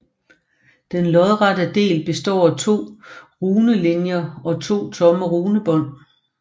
Den lodrette del består af to runelinjer og to tomme runebånd